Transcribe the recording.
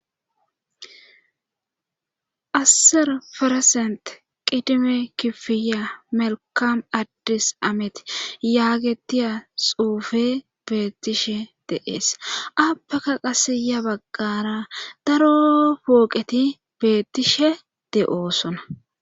Asser ferasent qidime kifiya melkam addis ameti yaagetiya xuufe beettishe de7ees appaka qasiya baggara daroo pooqeti beettishe de7oosona.